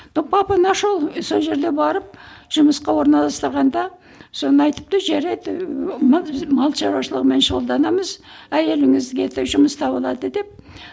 но папа нашел сол жерде барып жұмысқа орналастырғанда соны айтыпты жарайды мал шаруашылығымен шұғылданамыз әйеліңізге де жұмыс табылады деп